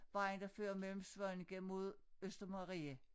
Vejen der fører mellem Svaneke mod Østermarie